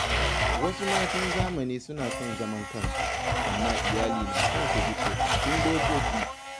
Wasu matan zamani suna son zaman kansu, amma iyali na son su bi tsofaffin dokoki.